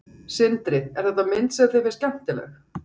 Sindri: Er þetta mynd sem þér finnst skemmtileg?